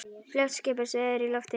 Fljótt skipast veður í lofti.